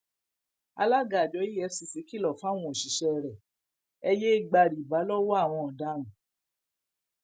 alága àjọ efcc kìlọ fáwọn òṣìṣẹ rẹ ẹ yéé gba rìbá lọwọ àwọn ọdaràn